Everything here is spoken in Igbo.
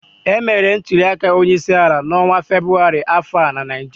Emere ntuliaka onyeisiala n'ọnwa Febụwarị afọ a na Naịjirịa